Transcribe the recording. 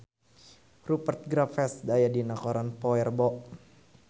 Rupert Graves aya dina koran poe Rebo